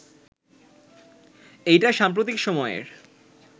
এটাই সাম্প্রতিক সময়ের